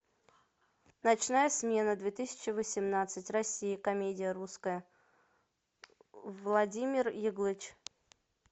ночная смена две тысячи восемнадцать россия комедия русская владимир яглыч